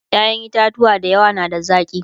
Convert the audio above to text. ƴaƴan itatuwa da yawa na da zaki